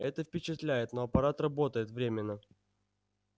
это впечатляет но аппарат работает временно